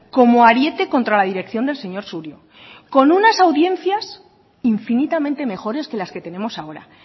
como ariete contra la dirección del señor surio con unas audiencia infinitamente mejores que las que tenemos ahora